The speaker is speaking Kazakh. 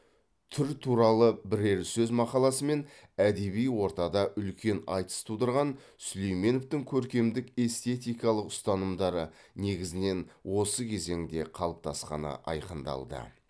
түр туралы бірер сөз мақаласымен әдеби ортада үлкен айтыс тудырған сүлейменовтің көркемдік эстетикалық ұстанымдары негізінен осы кезеңде қалыптасқаны айқындалды